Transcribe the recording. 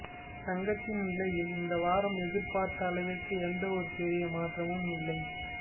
தங்கத்தின் விலையில் இந்த வாரம் எதிர்பார்த்த அளவிற்கு எந்த ஒரு பெரிய மாற்றமும் இல்லை